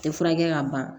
Tɛ furakɛ ka ban